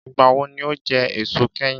Ìgbà wo ni o jẹ èso kẹ́yìn